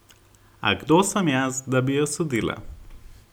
A kdo sem jaz, da bi jo sodila?